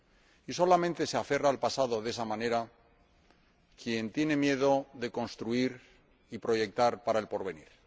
Y solamente se aferra al pasado de esa manera quien tiene miedo de construir y proyectar para el porvenir.